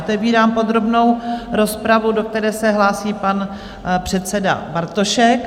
Otevírám podrobnou rozpravu, do které se hlásí pan předseda Bartošek.